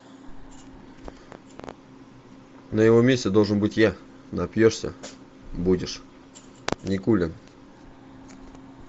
на его месте должен быть я напьешься будешь никулин